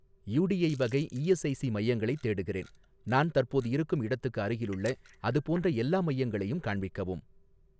UTI வகை ESIC மையங்களைத் தேடுகிறேன், நான் தற்போது இருக்கும் இடத்துக்கு அருகிலுள்ள அதுபோன்ற எல்லா மையங்களையும் காண்பிக்கவும்